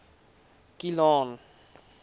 kilian